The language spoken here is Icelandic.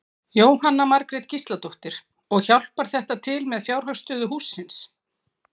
Jóhanna Margrét Gísladóttir: Og hjálpar þetta til með fjárhagsstöðu hússins?